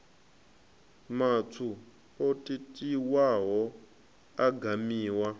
matswu o totiwaho a gamiwa